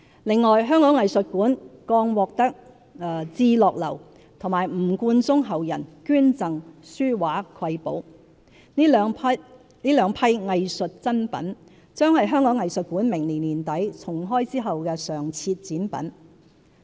另外，香港藝術館剛獲至樂樓和吳冠中後人捐贈書畫瑰寶，這兩批藝術珍品將是香港藝術館明年年底重開後的常設展品。